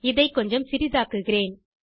இதை கொஞ்சம் சிறிதாக்குகிறேன்